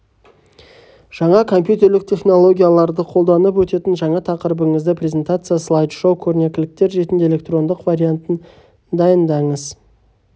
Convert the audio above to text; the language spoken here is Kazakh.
жаңа компьютерлік технологияларды қолданып өтетін жаңа тақырыбыңызды презентация слайд-шоу көрнекіліктер ретінде электрондық вариантын дайындадыңыз